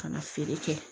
Ka na feere kɛ